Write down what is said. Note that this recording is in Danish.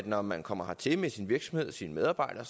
når man kommer hertil med sin virksomhed og sine medarbejdere